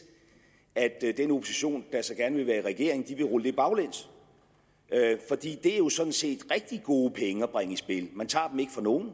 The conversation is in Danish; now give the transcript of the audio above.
at i regering vil rulle det baglæns for det er jo sådan set rigtig gode penge at bringe i spil man tager dem ikke fra nogen